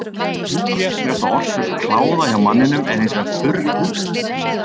Algengasta orsök kláða hjá manninum er hins vegar þurr húð.